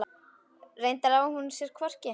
Reyndar á hún sér hvorki